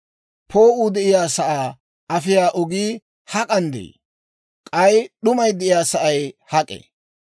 «Poo'uu de'iyaasaa afiyaa ogii hak'an de'ii? K'ay d'umay de'iyaa sa'ay hak'ee?